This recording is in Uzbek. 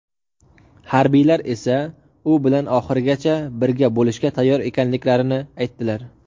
Harbiylar esa u bilan oxirigacha birga bo‘lishga tayyor ekanliklarini aytdilar.